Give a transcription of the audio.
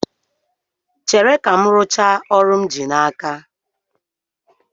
Chere ka m rụchaa ọrụ m ji n'aka